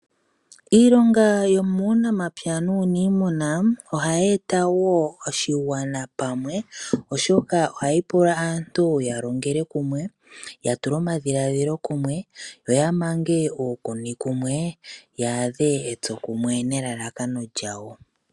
Iilonga yomuunamapya nuuniimuna ohayi eta woo oshigwana pamwe oshoka ohayi pula aantu ya longele kumwe ya tule omadhiladhilo kumwe yo ya mange mange uukuni kumwe ya adhe etsokumwe ne lalakano lyawo.